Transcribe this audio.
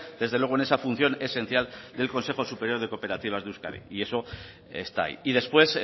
desde luego en esa función esencial del consejo superior de cooperativas de euskadi y eso está ahí y después